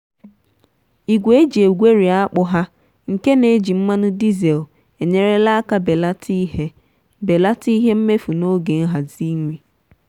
igwe e ji egweri akpu ha nke na-eji mmanụ dizel enyerela aka belata ihe belata ihe mmefu n'oge nhazi nri.